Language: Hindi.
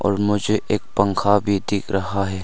और मुझे एक पंखा भी दिख रहा है।